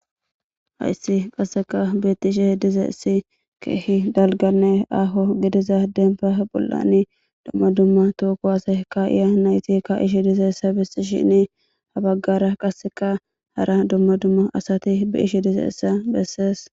hayssi qasseka beettishe dizayissi keehi dalganne aho gidiza denba bolani dumma dumma to kuwase kaa'iya nayti ka'ishi dizayissa bisishini ha baggara qasseka hara dumma dumma asati be'ishi dizayissa bessees